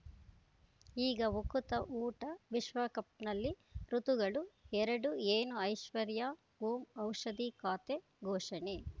ಈಗ ಉಕುತ ಊಟ ವಿಶ್ವಕಪ್‌ನಲ್ಲಿ ಋತುಗಳು ಎರಡು ಏನು ಐಶ್ವರ್ಯಾ ಓಂ ಔಷಧಿ ಖಾತೆ ಘೋಷಣೆ